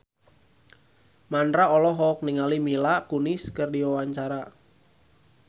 Mandra olohok ningali Mila Kunis keur diwawancara